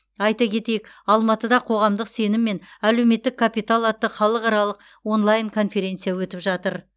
айта кетейік алматыда қоғамдық сенім мен әлеуметтік капитал атты халықаралық онлайн конференция өтіп жатыр